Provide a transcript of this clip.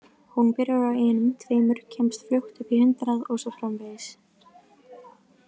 Hún byrjar á einum, tveimur, kemst fljótt upp í hundrað og svo framvegis.